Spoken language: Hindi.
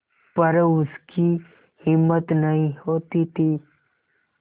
पर उसकी हिम्मत नहीं होती थी